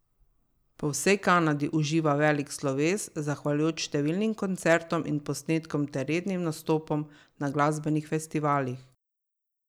Po vsej Kanadi uživa velik sloves, zahvaljujoč številnim koncertom in posnetkom ter rednim nastopom na glasbenih festivalih.